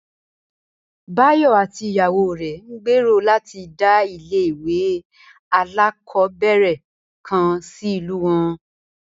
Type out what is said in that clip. Báyò̩ àti ìyàwó rè̩ ń gbèrò láti dá ilé ìwé alákò̩ó̩bè̩rè̩ kan sí ìlú wo̩n